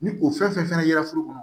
Ni o fɛn fɛn fɛnɛ yera foro kɔnɔ